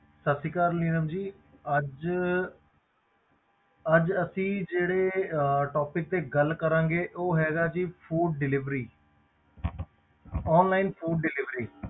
ਸਤਿ ਸ੍ਰੀ ਅਕਾਲ ਨੀਲਮ ਜੀ ਅੱਜ ਅਸੀਂ ਜਿਹੜੇ topic ਤੇ ਗੱਲ ਕਰਾਂਗੇ ਉਹ ਹੈਗਾ ਜੀ food delivery online food delivery